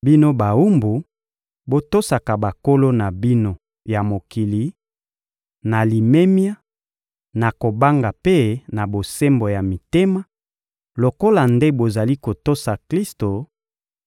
Bino bawumbu, botosaka bankolo na bino ya mokili, na limemia, na kobanga mpe na bosembo ya mitema, lokola nde bozali kotosa Klisto;